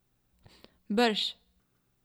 Brž!